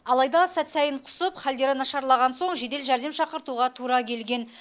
алайда сәт сайын құсып халдері нашарлаған соң жедел жәрдем шақыртуға тура келген